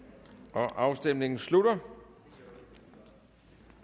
afstemningen slutter